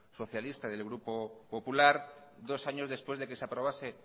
socialista y del grupo popular dos años después de que se aprobase